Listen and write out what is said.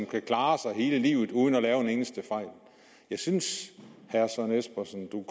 kan klare sig hele livet uden at lave en eneste fejl jeg synes herre søren espersen at du